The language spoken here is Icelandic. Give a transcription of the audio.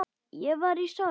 Ég var í sorg.